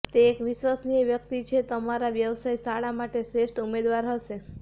તે એક વિશ્વસનીય વ્યક્તિ છે અને તમારા વ્યવસાય શાળા માટે શ્રેષ્ઠ ઉમેદવાર હશે